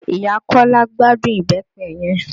Ìyá Kọ́lá gbádùn Ìbẹ́pẹ yẹn